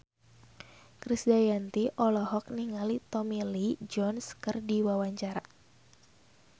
Krisdayanti olohok ningali Tommy Lee Jones keur diwawancara